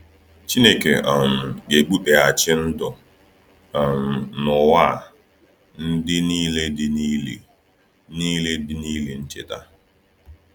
Chineke um ga-ebuteghachi ndụ um n’ụwa a ‘ndị niile dị n’ili niile dị n’ili ncheta.’